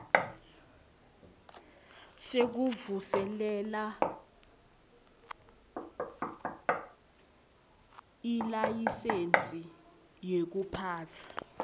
sekuvuselela ilayisensi yekuphatsa